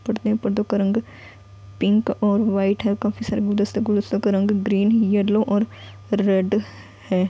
पर्दे हैं पर्दे का रंग पिंक और व्हाइट है| काफी सारे गुलदस्ते गुलदस्तों का रंग ग्रीन येलो और रेड है|